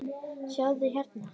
Sjáðu hérna.